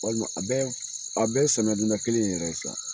Walima a bɛ a bɛ ye samiyadonda kelen in yɛrɛ ye sa